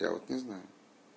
я вот не знаю